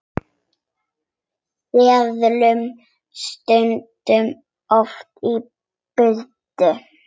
Seðlum stungið ofan í buddu.